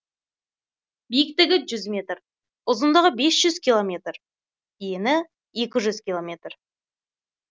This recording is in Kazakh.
биіктігі жүз метр ұзындығы бес жүз километр ені екі жүз километр